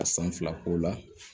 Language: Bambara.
A san fila k'o la